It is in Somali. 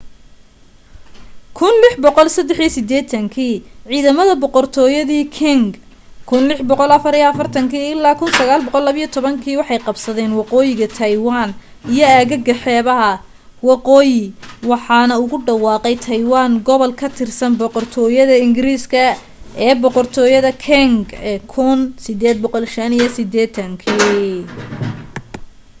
1683 dii ciidamada boqortooyadii qing 1644-1912 waxay qabsadeen waqooyiga taywaan iyo aagaga xeebaha waqooyi waxaanu ugu dhawaaqay taywaan gobol ka tirsan boqortooyada ingiriiska ee boqortooyada qing ee 1885